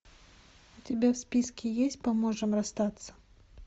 у тебя в списке есть поможем расстаться